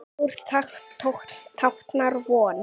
Blár táknar von.